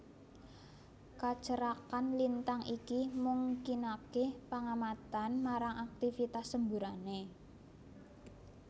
Kacerakan lintang iki mungkinaké pangamatan marang aktivitas semburanné